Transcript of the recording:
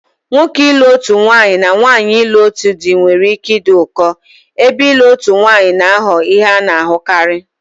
Nwoke ilu otutu nwanyi na nwanyi ilu otutu di nwere ike ịdị ụkọ, ebe ịlụ otu nwanyị na-aghọ ihe a na-ahụkarị.